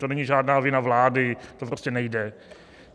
To není žádná vina vlády, to prostě nejde.